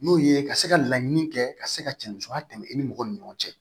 N'o ye ka se ka laɲini kɛ ka se ka cɛ musoya tɛmɛ i ni mɔgɔ ni ɲɔgɔn cɛ